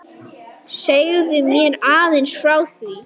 Segðu mér aðeins frá því.